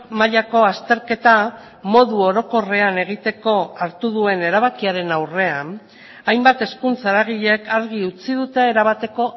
mailako azterketa modu orokorrean egiteko hartu duen erabakiaren aurrean hainbat hezkuntza eragilek argi utzi dute erabateko